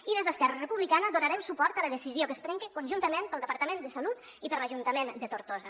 i des d’esquerra republicana dona·rem suport a la decisió que es prengue conjuntament pel departament de salut i per l’ajuntament de tortosa